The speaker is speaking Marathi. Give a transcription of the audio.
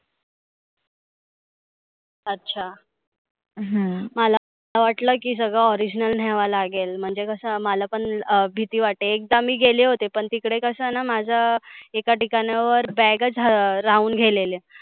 अच्छा हम्म मला वाटलं की सगळ original न्याहव लागेल. म्हणजे कसं मला पण अं भिती वाटते. एकदा मी गेले होते पण तीकडे कसं ना माझ एका ठिकाणावर bag च हं राहून गेलेली.